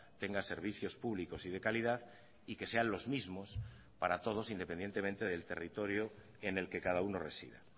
tenga servicios públicos y de calidad y que sean los mismos para todos independientemente del territorio en el que cada uno resida